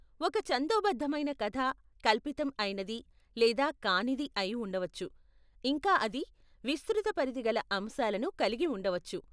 ఒక ఛందోబద్ధమైన కధ, కల్పితం అయినది లేదా కానిది అయిఉండవచ్చు, ఇంకా అది విస్తృత పరిధిగల అంశాలను కలిగి ఉండవచ్చు.